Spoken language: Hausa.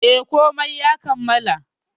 E, komai ya kammala.